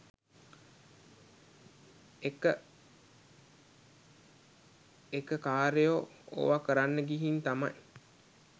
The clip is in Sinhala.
එක එකකාරයෝ ඕවකරන්න ගිහින් තමයි